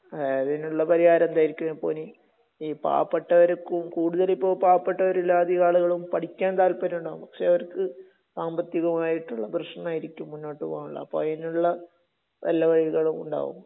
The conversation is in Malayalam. ങാ..അതിനുള്ള പരിഹാരം എന്തായിരിക്കുമിപ്പോനി? ഈ പാവപ്പെട്ടര്..കൂടുതലിപ്പോ പാവപ്പെട്ടവരല്ലേ അധികം ആളുകളും? പഠിക്കാൻ താല്പര്യമുണ്ടാകും, പക്ഷേ അവർക്ക് സാമ്പത്തികമായിട്ടുള്ള പ്രശ്നമായിരിക്കും മുന്നോട്ടുപോകാനുള്ള..അപ്പൊ അയിനുള്ള വല്ല വഴികളും ഉണ്ടാകുമോ?